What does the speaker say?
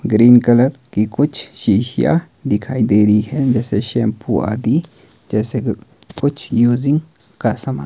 green colour की कुछ शीशियां दिखाई दे रही हैं जैसे शैंपू आदि जैसे क कुछ यूजिंग का सामान --